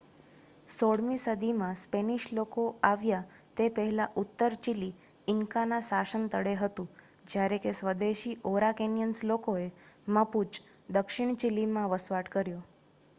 16 મી સદી માં સ્પેનિશ લોકો આવ્યા તે પહેલા ઉત્તર ચીલી ઇન્કા ના શાસન તળે હતું જ્યારે કે સ્વદેશી ઔરાકેનિયન્સ લોકોએ મપુચ દક્ષિણ ચીલી માં વસવાટ કર્યો